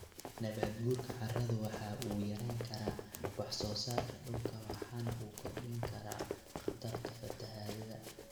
Nabaad guurka carradu waxa uu yarayn karaa wax soo saarka dhulka waxana uu kordhin karaa khatarta fatahaada.